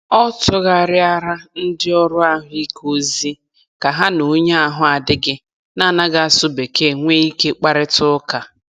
Ọ tụgharịara ndị ọrụ ahụike ozi ka ha na onye ahụ adịghị na-anaghị asụ Bekee nwee ike kparịta ụka.